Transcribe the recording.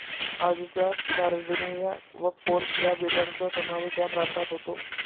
आजच्या सार्डिनिया व कोर्स या बेटांचा समावेश या प्रांतात होतो.